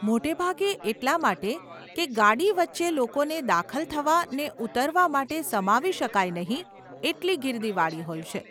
મોટે ભાગે એટલાં માટે કે ગાડી વચ્ચે લોકોને દાખલ થવા ને ઉતરવા માટે સમાવી શકાય નહીં એટલી ગીર્દીવાળી હોય છે.